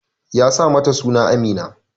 Ki sa mata suna Amina!